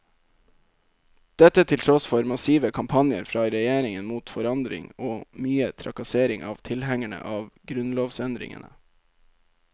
Dette til tross for massive kampanjer fra regjeringen mot forandring og mye trakassering av tilhengerne av grunnlovsendringene.